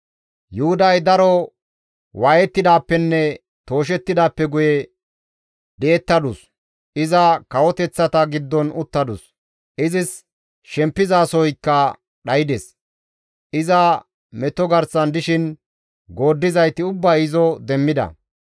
Yuhuday daro waayettidaappenne tooshettidaappe guye di7ettadus; iza kawoteththata giddon uttadus; izis shempizasoykka dhaydes; iza meto garsan dishin gooddizayti ubbay izo demmida.